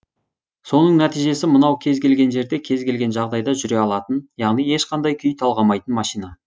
соның нәтижесі мынау кез келген жерде кез келген жағдайда жүре алатын яғни ешқандай күй талғамайтын машина